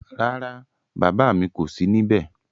Rárá, bàbá mi kò sí níbé